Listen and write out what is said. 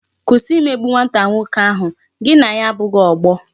Kwụsị imegbu nwata nwoke ahụ, gị na ya abụghị ọgbọ